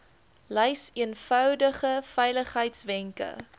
lys eenvoudige veiligheidswenke